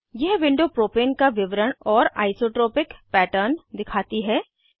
यह window propane का विवरण और आइसोट्रोपिक पैटर्न दिखाती है